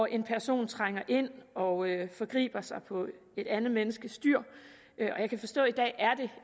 en person trænger ind og forgriber sig på et andet menneskes dyr og jeg kan forstå at